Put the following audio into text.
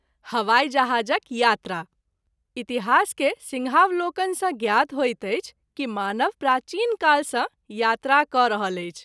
हवाई जहाज़क यात्रा —————————— इतिहास के सिंहावलोकन सँ ज्ञात होइत अछि कि मानव प्राचीन काल सँ यात्रा क’ रहल अछि।